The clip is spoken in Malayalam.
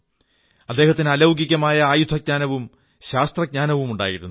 അദ്ദേഹത്തിന് അലൌകികമായ ആയുധജ്ഞാനവും ശാസ്ത്രജ്ഞാനവും ഉണ്ടായിരുന്നു